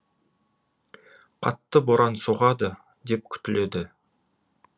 қатты боран соғады деп күтіледі